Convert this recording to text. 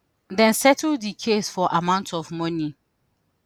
dem settle di case for amount of money